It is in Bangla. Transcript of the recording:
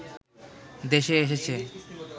দেশে এসেছে